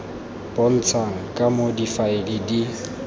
bontshang ka moo difaele di